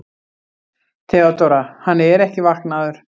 THEODÓRA: Hann er ekki vaknaður.